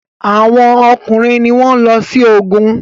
Awọn ọkùnrin ní wón ló sí ògún